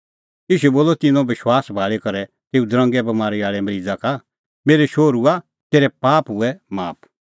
ईशू बोलअ तिन्नों विश्वास भाल़ी करै तेऊ दरंगे बमारी आल़ै मरीज़ा का मेरै शोहरूआ तेरै पाप हुऐ माफ